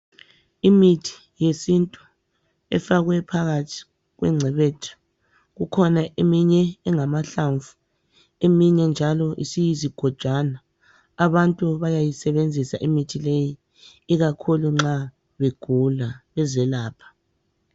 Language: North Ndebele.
Imithi yesintu efakwe phakathi kwengcebethu .Kukhona eminye engamahlamvu ,eminye njalo isiyizigojwana .Abantu bayayisebenzisa imithi leyi ikakhulu nxa begula bezelapha.